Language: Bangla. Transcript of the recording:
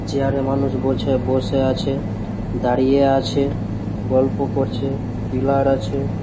চেয়ারে মানুষ বোঝে বসে আছে দাঁড়িয়ে আছে গল্প করছে পিলার আছে।